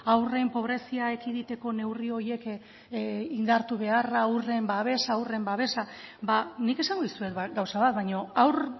haurren pobrezia ekiditeko neurri horiek indartu beharra haurren babesa haurren babesa ba nik esango dizuet gauza bat